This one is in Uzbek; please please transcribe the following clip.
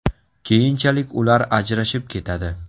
Keyinchalik ular ajrashib ketadi.